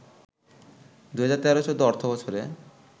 ২০১৩-১৪ অর্থবছরে